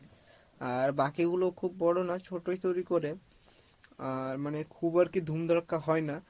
আর বাকি গুলো খুব বড় নয় ছোটোই তৈরী করে আর মানে খুব আর কি ধুম ধারক্কা হয় না,